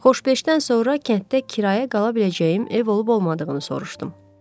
Xoşbeşdən sonra kənddə kirayə qala biləcəyim ev olub olmadığını soruşdum.